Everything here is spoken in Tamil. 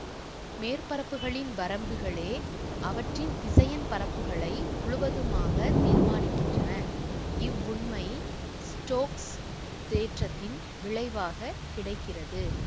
மேற்பரப்புகளின் வரம்புகளே அவற்றின் திசையன் பரப்புகளை முழுவதுமாக தீர்மானிக்கின்றன இவ்வுண்மை ஸ்டோக்ஸ் தேற்றத்தின் விளைவாக கிடைக்கிறது